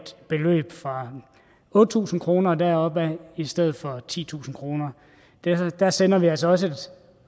beløb fra otte tusind kroner og derover i stedet for titusind kroner der sender vi altså også et